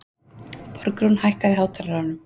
Borgrún, hækkaðu í hátalaranum.